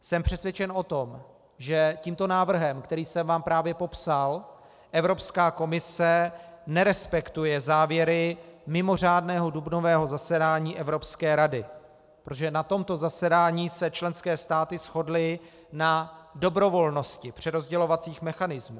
Jsem přesvědčen o tom, že tímto návrhem, který jsem vám právě popsal, Evropská komise nerespektuje závěry mimořádného dubnového zasedání Evropské rady, protože na tomto zasedání se členské státy shodly na dobrovolnosti přerozdělovacích mechanismů.